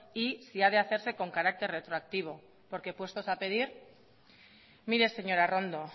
y si ha de hacerse con carácter retroactivo porque puestos a pedir mire señora arrondo